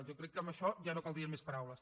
jo crec que amb això ja no caldrien més paraules